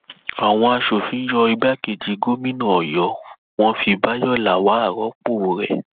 àwọn aṣòfin yọ igbákejì gómìnà ọyọ wọn fi bayọ lawal rọpò rẹ